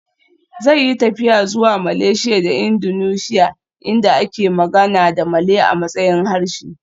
Zai yi tafiya zuwa Malaysia da Indonesia inda ake magana da Malay a matsayin harshe